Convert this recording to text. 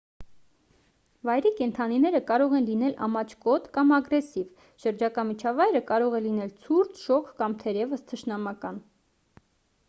վայրի կենդանիները կարող են լինել ամաչկոտ կամ ագրեսիվ շրջակա միջավայրը կարող է լինել ցուրտ շոգ կամ թերևս թշնամական